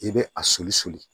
I bɛ a soli soli